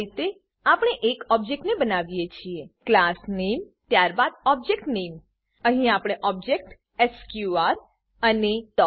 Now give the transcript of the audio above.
આ રીતે આપણે એક ઓબજેક્ટ બનાવીએ છીએ class નામે ક્લાસ નેમ ત્યારબાદ object નામે ઓબજેક્ટ નેમ અહીં આપણે ઓબ્જેક્ટ એસક્યુઆર અને એ